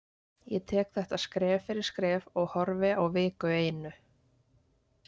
Ég tek þetta skref fyrir skref og horfi á viku einu.